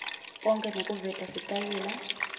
onkhe nekuveta sitayela